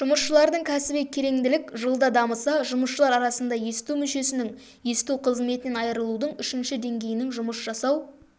жұмысшылардың кәсіби кереңділік жылда дамыса жұмысшылар арасында есту мүшесінің есту қызметінен айырылудың үшінші деңгейінің жұмыс жасау